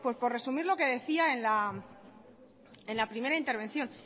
pues por resumir lo que decía en la primera intervención